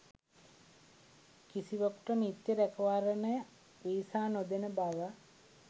කිසිවකුට නිත්‍ය රැකවරණ වීසා නොදෙන බව